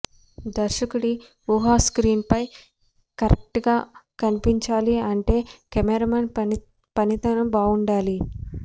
దర్శకుడి ఉహ స్క్రీన్ పై కరెక్ట్ గా కనిపించాలి అంటే కెమెరామెన్ పనితనం బావుండలి